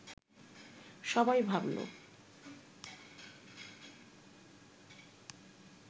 সবাই ভাবল